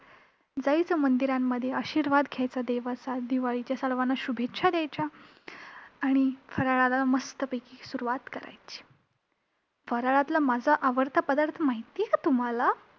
जायचं मंदिरांमध्ये, आशिर्वाद घ्यायचा देवाचा, दिवाळीच्या सर्वांना शुभेच्छा द्यायच्या आणि फराळाला मस्तपैकी सुरुवात करायची. फराळातला माझा आवडता पदार्थ माहित आहे का तुम्हांला?